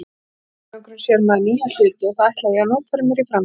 svona einangrun sér maður nýja hluti og það ætla ég að notfæra mér í framtíðinni.